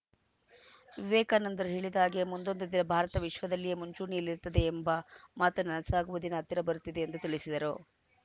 ವಿವೇಕಾನಂದರು ಹೇಳಿದ ಹಾಗೆ ಮುಂದೊಂದು ದಿನ ಭಾರತ ವಿಶ್ವದಲ್ಲಿಯೇ ಮುಂಚೂಣಿಯಲ್ಲಿರುತ್ತದೆ ಎಂಬ ಮಾತನ್ನ ಸಾಗುವ ದಿನ ಹತ್ತಿರ ಬರುತ್ತಿದೆ ಎಂದು ತಿಳಿಸಿದರು